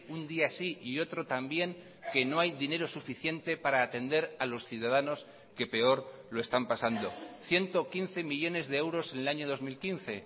un día sí y otro también que no hay dinero suficiente para atender a los ciudadanos que peor lo están pasando ciento quince millónes de euros en el año dos mil quince